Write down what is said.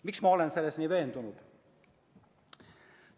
Miks ma olen selles nii veendunud?